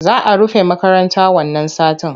Za a rufe makarata wannan satin.